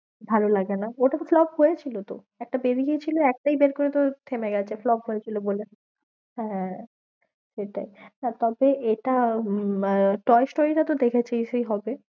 ভালো লাগে না, ওটা তো flop হয়েছিল তো, একটা বেরিয়ে গেছিলো, একটাই বের করে তোর থেমে গেছে flop হয়েছিল বলে হ্যাঁ সেটাই তবে এটা আহ টয়েস story টা তো দেখেছিসই হবে।